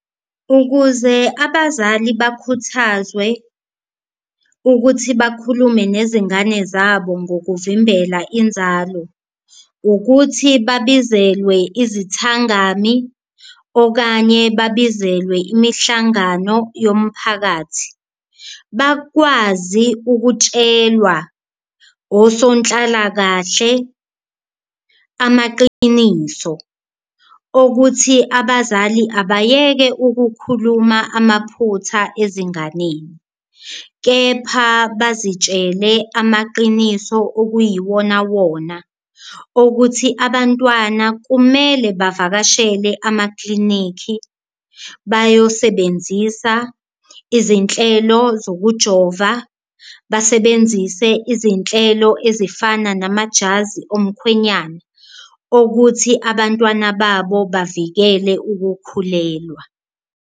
Ukuze abazali bakhuthazwe ukuthi bakhulume nezingane zabo ngokuvimbela inzalo ukuthi babizelwe izithangami okanye bakubizelwe imihlangano yomphakathi, bakwazi ukutshelwa osonhlalakahle amaqiniso okuthi abazali abayeke ukukhuluma amaphutha ezinganeni. Kepha bazitshele amaqiniso okuyiwona wona okuthi abantwana kumele bavakashele amaklinikhi bayosebenzisa izinhlelo zokujova, basebenzise izinhlelo ezifana namajazi omkhwenyana okuthi abantwana babo bavikele ukukhulelwa.